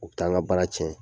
U t' an ka baara cɛn